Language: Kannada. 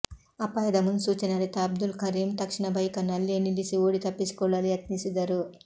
ಅಪಾಯದ ಮುನ್ಸೂಚನೆ ಅರಿತ ಅಬ್ದುಲ್ ಕರೀಂ ತಕ್ಷಣ ಬೈಕನ್ನು ಅಲ್ಲೇ ನಿಲ್ಲಿಸಿ ಓಡಿ ತಪ್ಪಿಸಿಕೊಳ್ಳಲು ಯತ್ನಿಸಿದರು